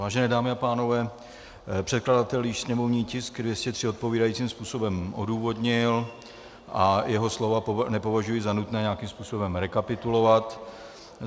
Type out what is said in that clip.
Vážené dámy a pánové, předkladatel již sněmovní tisk 203 odpovídajícím způsobem odůvodnil a jeho slova nepovažuji za nutné nějakým způsobem rekapitulovat.